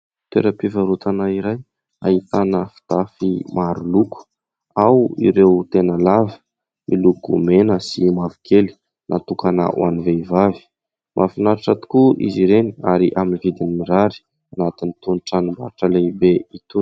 Toeram-pivarotana iray ahitana fitafy maro loko. Ao ireo tena lava, miloko mena sy mavokely, natokana ho an'ny vehivavy. Mahafinaritra tokoa izy ireny ary amin'ny vidiny mirary, anatin'itony tranombarotra lehibe itony.